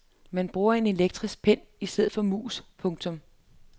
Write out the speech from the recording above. Man bruger en elektronisk pen i stedet for mus. punktum